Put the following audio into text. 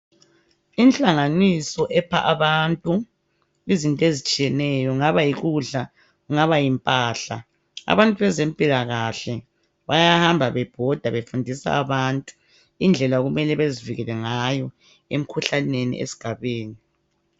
Inhlanganiso epha abantu izinto ezitshiyeneyo kungaba yikudla kungaba yimpahla. Abantu bezempilakahle bayahamba bebhoda befundisa abantu indlela okumele bezivikele ngayo emkhuhlaneni esigabeni.